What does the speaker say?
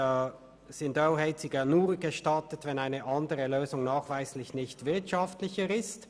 ] sind Ölheizungen nur gestattet, wenn eine andere Lösung nachweislich nicht wirtschaftlicher ist».